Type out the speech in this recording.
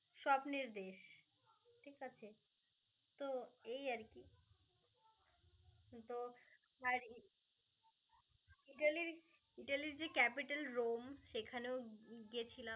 স্বপ্নের দেশ. ঠিক আছে তো এই আরকি. তো আর ই~ ইতালির যে capital রোম সেখানেও গিয়েছিলাম.